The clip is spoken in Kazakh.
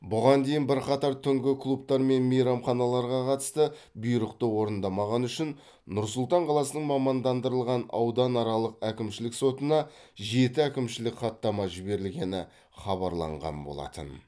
бұған дейін бірқатар түнгі клубтар мен мейрамханаларға қатысты бұйрықты орындамағаны үшін нұр сұлтан қаласының мамандандырылған ауданаралық әкімшілік сотына жеті әкімшілік хаттама жіберілгені хабарланған болатын